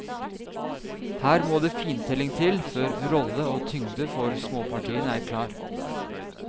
Her må det fintelling til, før rolle og tyngde for småpartiene er klar.